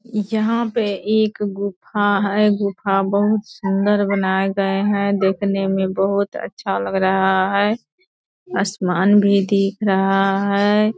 यहाँ पे एक गुफा है। गुफा बहुत सुन्दर बनाये गए है देखने में बहुत अच्छा लग रहा है असमान भी दीख रहा है।